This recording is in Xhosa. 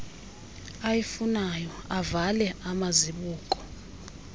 ayifunayo avale amazibuko